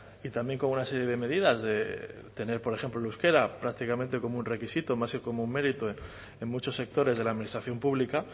y también con una serie de medidas de tener por ejemplo el euskera prácticamente como un requisito más que como mérito en muchos sectores de la administración pública